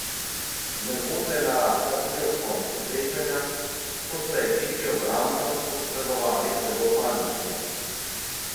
Nervoza je narasla tudi ob koncu srečanja, ko sta ekipi obrambno posredovali zelo panično.